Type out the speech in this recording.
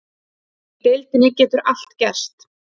Í deildinni getur allt gerst.